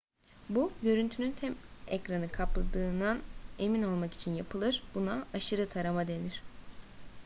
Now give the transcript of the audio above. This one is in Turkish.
bu görüntünün tüm ekranı kapladığından emin olmak için yapılır buna aşırı tarama denir